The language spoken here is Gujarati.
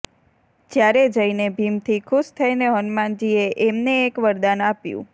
ત્યારે જઈને ભીમ થી ખુશ થઈને હનુમાનજી એ એમને એક વરદાન આપ્યું